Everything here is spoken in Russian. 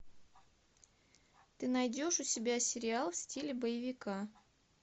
ты найдешь у себя сериал в стиле боевика